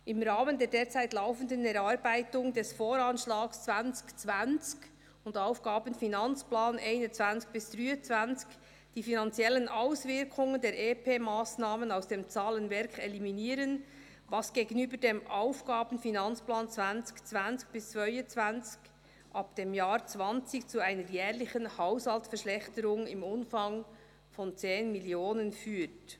] im Rahmen der derzeit laufenden Erarbeitung des Voranschlags 2020 und Aufgaben-/Finanzplans 2021-2023 die finanziellen Auswirkungen der EP-Massnahme aus dem Zahlenwerk eliminieren, was gegenüber dem Aufgaben-/Finanzplan 2020–2022 ab dem Jahr 2020 zu einer jährlichen Haushaltsverschlechterung im Umfang von CHF 10 Millionen führt».